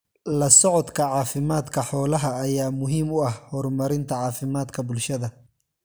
La socodka caafimaadka xoolaha ayaa muhiim u ah horumarinta caafimaadka bulshada.